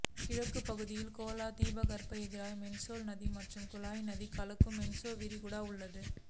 கிழக்குப் பகுதிகளில் கோலா தீபகற்பம் எதிரே மென்ஸ் நதி மற்றும் குலாய் நதி கலக்கும் மென்ஸ் விரிகுடா உள்ளது